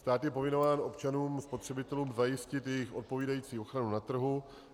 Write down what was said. Stát je povinován občanům spotřebitelům zajistit jejich odpovídající ochranu na trhu.